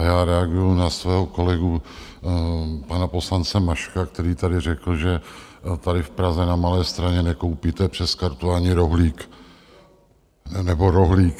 A já reaguji na svého kolegu pana poslance Maška, který tady řekl, že tady v Praze na Malé Straně nekoupíte přes kartu ani rohlík - nebo rohlík.